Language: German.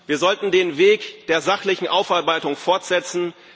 Wir sollten den Weg der sachlichen Aufarbeitung fortsetzen.